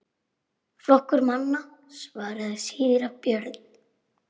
Flokkur manna, svaraði síra Björn.